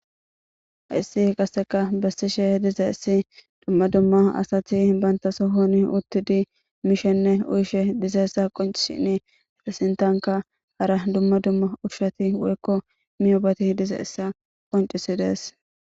Haissi qasseka bessishe diza issi dumma dumma asati banta sohon uttidi mishenne uyshe dizeessa qonci shini hexesintanka hara dumma dumma ushshati woykko miyobati dize issa qoncisi dees.